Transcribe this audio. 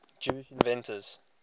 jewish inventors